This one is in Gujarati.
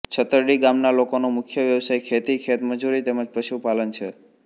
છતરડી ગામના લોકોનો મુખ્ય વ્યવસાય ખેતી ખેતમજૂરી તેમ જ પશુપાલન છે